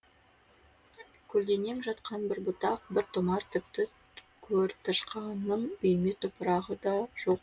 көлденең жатқан бір бұтақ бір томар тіпті көртышқанның үйме топырағы да жоқ